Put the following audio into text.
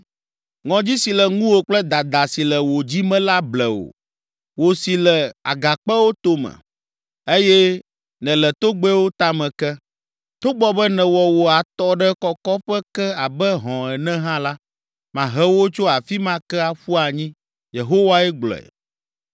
Ŋɔdzi si le ŋuwò kple dada si le wò dzi me la ble wò, wò si le agakpewo tome, eye nèle togbɛwo tame ke. Togbɔ be nèwɔ wò atɔ ɖe kɔkɔƒe ke abe hɔ̃ ene hã la, mahe wò tso afi ma ke aƒu anyi,” Yehowae gblɔe.